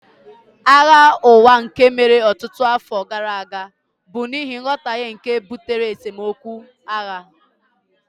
Agha Ụwa nke mere ọtụtụ afọ gara aga bụ n'ihi nghọtahie nke butere esemokwu (agha)